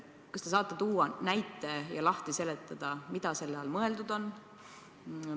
Kas te saate tuua näite ja lahti seletada, mida selle all mõeldud on?